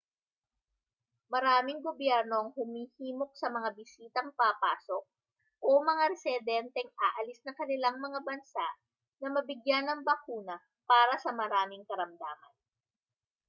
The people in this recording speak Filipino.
maraming gobyerno ang humihimok sa mga bisitang papasok o mga residenteng aalis ng kanilang mga bansa na mabigyan ng bakuna para sa maraming karamdaman